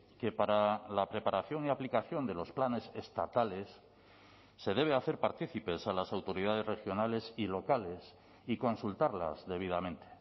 que para la preparación y aplicación de los planes estatales se debe hacer partícipes a las autoridades regionales y locales y consultarlas debidamente